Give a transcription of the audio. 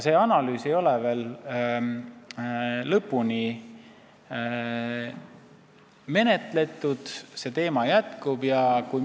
See analüüs ei ole aga veel lõpuni valmis ja selle teema arutelu jätkub.